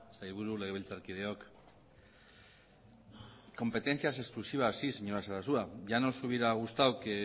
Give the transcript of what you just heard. sailburu legebiltzarkideok competencias exclusivas sí señora sarasua ya nos hubiera gustado que